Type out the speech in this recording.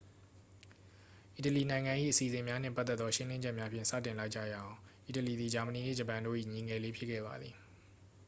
"အီတလီနိုင်ငံ၏ အစီအစဉ်များနှင့်ပတ်သက်သော ရှင်းလင်းချက်များဖြင့် စတင်လိုက်ကြရအောင်။ အီတလီသည် ဂျာမနီနှင့် ဂျပန်တို့၏ "ညီငယ်လေး" ဖြစ်ခဲ့ပါသည်။